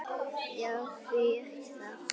Já, því ekki það.